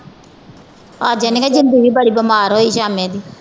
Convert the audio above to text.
ਅੱਜ ਇਹਨਾਂ ਦੀ ਜਿੰਦੀ ਵੀ ਬੜੀ ਬਿਮਾਰ ਹੋਈ ਸਾਮੇ ਦੀ